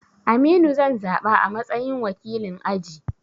Aminu zan zaɓa a matsayin wakilin aji